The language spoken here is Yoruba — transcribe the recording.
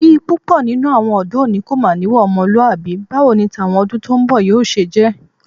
Bí púpọ̀ nínú àwọn ọ̀dọ́ òní kò bá níwà ọmọlúwàbí, báwo ni tàwọn ọdún tó ń bọ̀ yóò ṣe jẹ́.